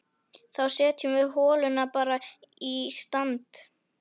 Þá setjum við holuna bara í stand!